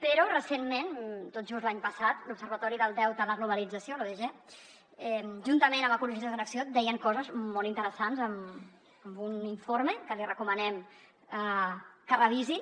però recentment tot just l’any passat l’observatori del deute en la globalització l’odg juntament amb ecologistes en acció deien coses molt interessants en un informe que els recomanem que revisin